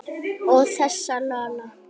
Og þessa Lola.